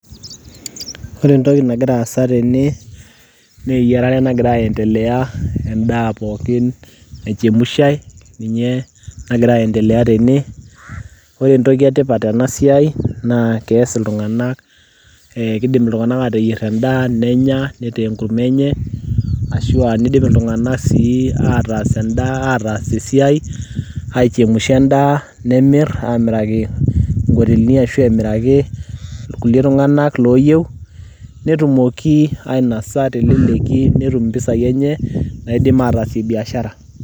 ore entoki nagira aasa tene naa eyiarare nagira aendelea endaa pookin naichemshae ninye nagira aendelea tene ore entoki etipat tena siai naa kees iltung'anak kidim iltung'anak ateyierr endaa nenya nitaa enkurma enye ashua nidip iltung'anak sii ataas endaa, ataas esiai aichemusha endaa nemirr amiraki nkotelini ashu emiraki irkulie tung'anak loyieu netumoki ainasa teleleki netum impisai enye naidim ataasie biashara.